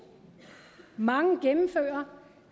mange gennemfører